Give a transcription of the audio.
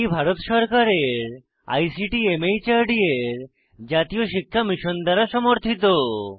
এটি ভারত সরকারের আইসিটি মাহর্দ এর জাতীয় শিক্ষা মিশন দ্বারা সমর্থিত